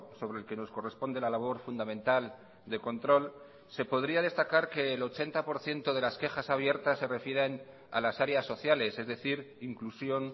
sobre el que nos corresponde la labor fundamental de control se podría destacar que el ochenta por ciento de las quejas abiertas se refieren a las áreas sociales es decir inclusión